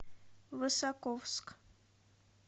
высоковск